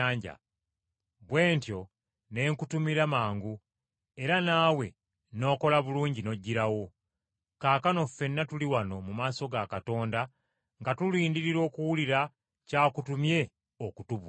Bwe ntyo ne nkutumira mangu, era naawe n’okola bulungi n’ojjirawo. Kaakano ffenna tuli wano mu maaso ga Katonda nga tulindirira okuwulira ky’akutumye okutubuulira!”